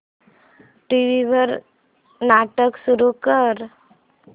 TV वर नाटक सुरू कर